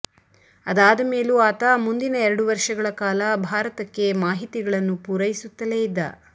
ಅದಾದ ಮೇಲೂ ಆತ ಮುಂದಿನ ಎರಡು ವರ್ಷಗಳ ಕಾಲ ಭಾರತಕ್ಕೆ ಮಾಹಿತಿಗಳನ್ನು ಪೂರೈಸುತ್ತಲೇ ಇದ್ದ